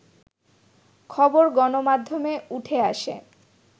খবর গণমাধ্যমে উঠে আসে